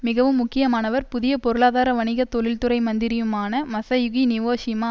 மிகவும் முக்கியமானவர் புதிய பொருளாதார வணிக தொழில்துறை மந்திரியுமான மசயுகி நவோஷிமா